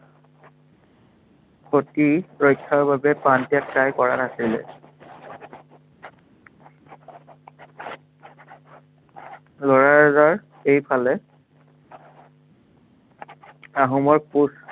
সতী ৰক্ষাৰ বাবে প্ৰাণ ত্য়াগ তাই কৰা নাছিল লৰাৰজাৰ এইফালে আহোমৰ